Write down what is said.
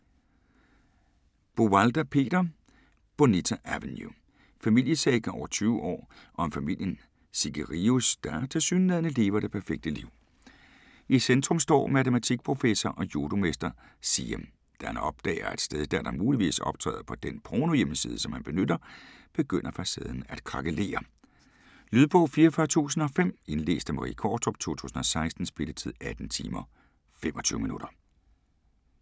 Buwalda, Peter: Bonita Avenue Familiesaga over 20 år om familien Sigerius der tilsyneladende lever det perfekte liv. I centrum står matematikprofessor og judomester Siem. Da han opdager, at steddatteren muligvis optræder på den pornohjemmeside, som han benytter, begynder facaden at krakelere. Lydbog 44005 Indlæst af Marie Qvortrup, 2016. Spilletid: 18 timer, 25 minutter.